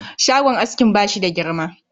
Shagon askin bashi da girma